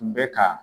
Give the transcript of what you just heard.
Tun bɛ ka